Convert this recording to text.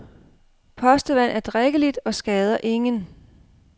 Postevand er drikkeligt og skader ingen.